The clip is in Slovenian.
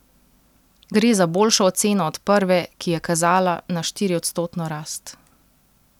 Gre za boljšo oceno od prve, ki je kazala na štiriodstotno rast.